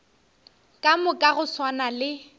ka moka go swana le